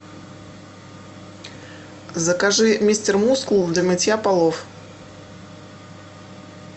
закажи мистер мускул для мытья полов